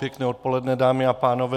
Pěkné odpoledne, dámy a pánové.